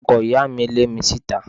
Ọkọ ìyá mi lé mi síta